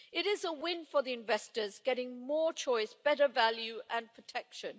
It is a win for the investors, getting more choice, better value and protection.